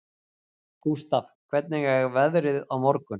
Gústaf, hvernig er veðrið á morgun?